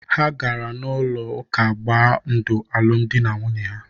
Ha gara n'ụlọ ụka gbaa ndụ alụmdi na nwunye ha.